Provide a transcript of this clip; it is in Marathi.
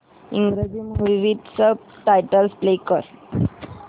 English movie with subtitles play कर